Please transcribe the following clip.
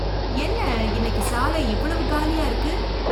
என்ன இன்னைக்கு சாலை இவ்வளவு காலியா இருக்கு!